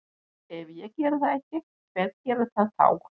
Ef ég geri það ekki, hver gerir það þá?